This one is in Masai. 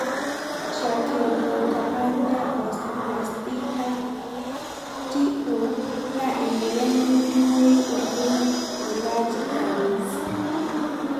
Tracheobronchopathia osteoplastica (TO) na emoyian nemetumoyu oleng elarge airways.